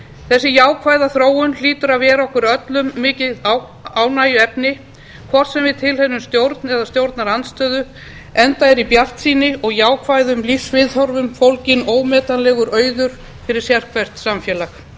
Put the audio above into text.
þessi jákvæða þróun hlýtur að vera okkur öllum mikið ánægjuefni hvort sem við tilheyrum stjórn eða stjórnarandstöðu enda er í bjartsýni og jákvæðum lífsviðhorfum fólginn ómetanlegur auður fyrir sérhvert samfélag